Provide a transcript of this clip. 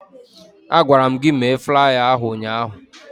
Agwara m gị mee flaya ahụ ụnyaahụ!